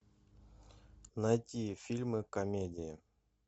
найти фильмы комедии